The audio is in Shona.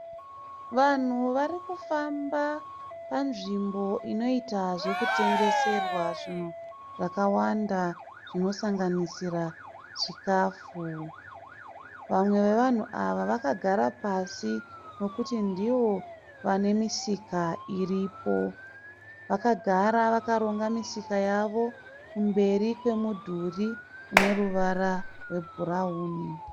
Vanhu varikufamba panzvimbo inoita zvekutengeserwa zvinhu zvakawanda zvinosanganisira chikafu. Vamwe vevanhu vakagara pasi ñekuti ndivo vane misika iripo. Vakagara vakaronga misika yavo kumberi kwemudhurí une ruwara rwe bhurauni.